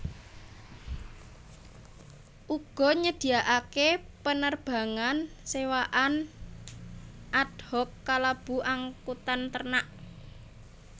Uga nyediakaké penerbangan sewaan ad hoc kalebu angkutan ternak